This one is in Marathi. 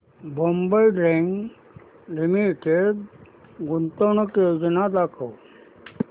बॉम्बे डाईंग लिमिटेड गुंतवणूक योजना दाखव